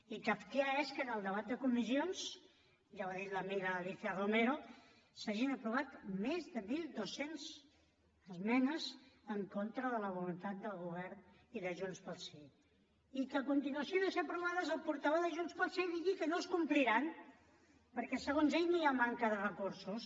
i kafkià és que en el debat de comissions ja ho ha dit l’amiga alicia romero s’hagin aprovat més de mil dos cents esmenes en contra de la voluntat del govern i de junts pel sí i que a continuació de ser aprovades el portaveu de junts pel sí digui que no es compliran perquè segons ell hi ha manca de recursos